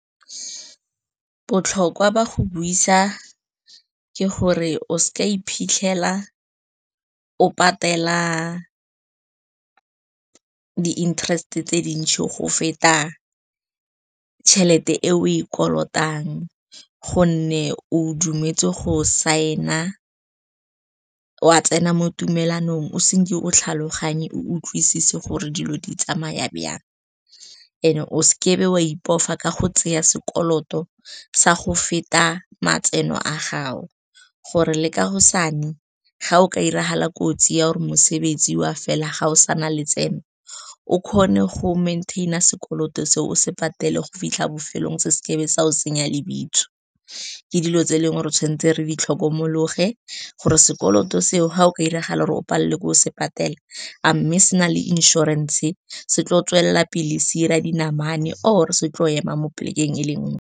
Botlhokwa ba go buisa ke gore o seke wa iphitlhela o patela di-interest tse dintsi go feta tšhelete eo e kolotang, gonne o dumetse go sign-a wa tsena mo tumalanong o senke o tlhaloganye o utlwisise gore dilo di tsamaya jang. And-e o seke wa ipofa ka go tsaya sekoloto sa go feta matseno a gago, gore le kaosane ga o ka diragala kotsi ya gore mosebetsi wa fela, ga o sa na letseno, o kgone go maintain-a sekoloto se o se patele go fitlha bofelong, se seke be sa go senya lebitso. Ke dilo tse eleng gore re tshwanetse re di tlhokomologe, gore sekoloto seo ga o ka diragala gore o palelwe ke go se patela, a mme se na le inšorense, se tlo go tswelela pele se dira dinamane or se tlo ema mo plek-eng e le nngwe.